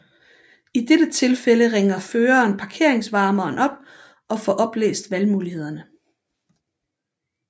I dette tilfælde ringer føreren parkeringsvarmeren op og får oplæst valgmulighederne